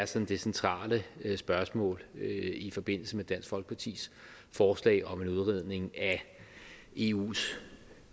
sådan centrale spørgsmål i forbindelse med dansk folkepartis forslag om en udredning af eus